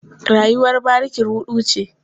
Rayuwar bariki ruɗu ce.